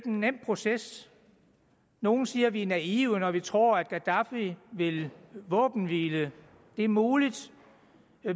nogen nem proces nogle siger at vi er naive når vi tror at gaddafi vil våbenhvile det er muligt